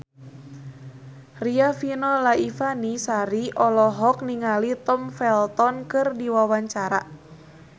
Riafinola Ifani Sari olohok ningali Tom Felton keur diwawancara